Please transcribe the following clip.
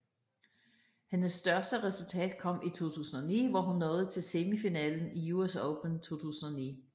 Hendes største resultat kom i 2009 hvor hun nåede til semifinalen i US Open 2009